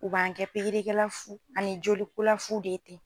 U b'an kɛ pikirikɛla fu ani jolikola fu de ye ten.